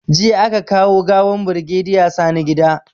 Jiya aka kawo gawan birigeda Sani gida